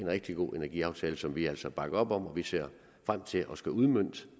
rigtig god energiaftale som vi altså bakker op om vi ser frem til at skulle udmønte